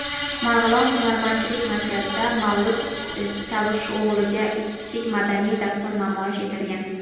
Marg‘ilon hunarmandchilik markazida Mavlud Chavusho‘g‘liga kichik madaniy dastur namoyish etilgan.